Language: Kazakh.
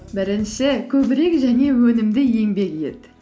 бірінші көбірек және өнімді еңбек ет